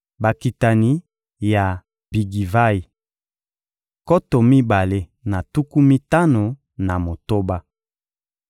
Bakitani ya Bigivayi: nkoto mibale na tuku mitano na motoba.